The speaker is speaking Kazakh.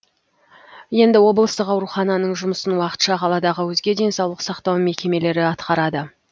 енді облыстық аурухананың жұмысын уақытша қаладағы өзге денсаулық сақтау мекемелері атқарады